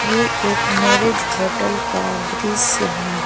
ये एक marriage hotel का दृश्य है।